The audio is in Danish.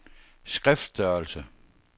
skriftstørrelse